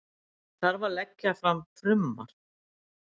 Það þarf að leggja fram frumvarp